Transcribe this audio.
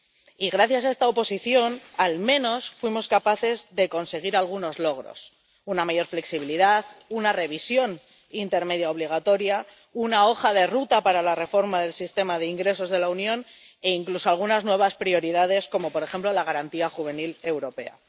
Y gracias a esta oposición, al menos fuimos capaces de conseguir algunos logros una mayor flexibilidad, una revisión intermedia obligatoria, una hoja de ruta para la reforma del sistema de ingresos de la Unión, e incluso algunas nuevas prioridades como, por ejemplo, la Garantía Juvenil europea.